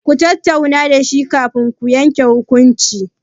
Ku tattauna da shi kafin ki yanke hukunci.